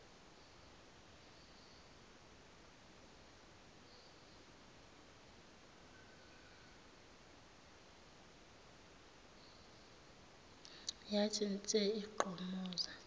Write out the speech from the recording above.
yathi nse igqomoza